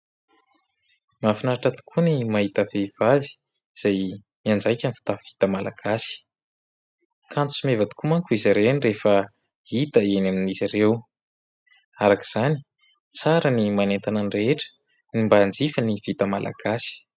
Mahafinaritra tokoa ny mahita vehivavy izay mianjaika ny fitafy vita malagasy. Kanto sy meva tokoa manko izy ireny rehefa hita eny amin'izy ireo. Araka izany, tsara ny manentana ny rehetra no mba hanjifa ny vita malagasy.